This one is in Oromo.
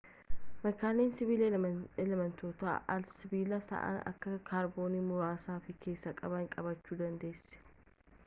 makaalee sibiilaa elemeentota al-sibiilawaa ta'an akka kaarboonii muraasa of keessaa qabanis qabaachuu dandeessa